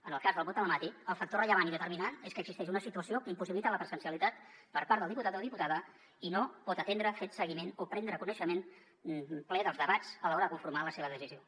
en el cas del vot telemàtic el factor rellevant i determinant és que existeix una situació que impossibilita la presencialitat per part del diputat o diputada i no pot atendre fer seguiment o prendre coneixement ple dels debats a l’hora de conformar la seva decisió